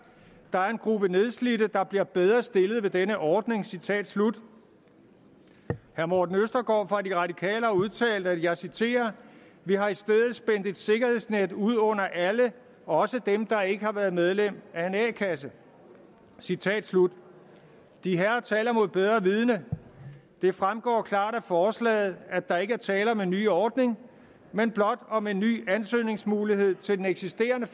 der er en gruppe nedslidte der bliver bedre stillet ved denne ordning citat slut herre morten østergaard fra de radikale har udtalt og jeg citerer vi har i stedet spændt et sikkerhedsnet ud under alle også dem der ikke har været medlem af en a kasse citat slut dherrer taler imod bedre vidende det fremgår klart af forslaget at der ikke er tale om en ny ordning men blot om en ny ansøgningsmulighed til den eksisterende